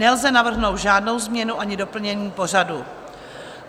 Nelze navrhnout žádnou změnu ani doplnění pořadu.